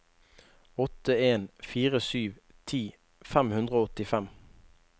åtte en fire sju ti fem hundre og åttifem